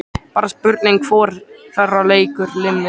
Bara spurning hvor þeirra leikur liminn.